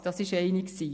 Das war die eine.